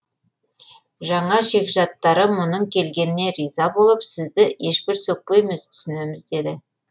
жаңа жекжаттары мұның келгеніне риза болып сізді ешбір сөкпейміз түсінеміз деді